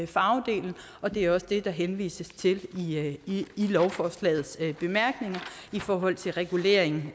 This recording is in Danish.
farvedelen og det er også det der henvises til i lovforslagets bemærkninger i forhold til regulering